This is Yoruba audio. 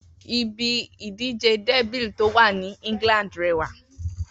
Ibi ìdíje dẹ́bìl tó wà ní England rẹwà